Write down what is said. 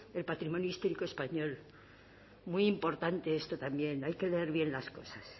del patrimonio histórico español muy importante esto también hay que leer bien las cosas